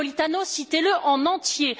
Napolitano, citez le en entier.